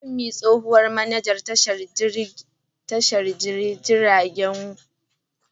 Funmi, tsohuwar manajan tashar jiragen ruwa ta Aba, ta aiwatar da muhimman matakan tsaro a shekarar 2017.